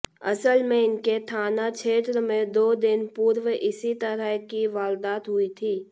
असल में इनके थाना क्षेत्र में दो दिन पूर्व इसी तरह की वारदात हुई थी